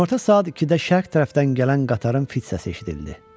Günorta saat 2-də şərq tərəfdən gələn qatarın fit səsi eşidildi.